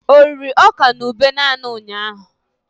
O riri ọka na ube naanị ụnyahụ?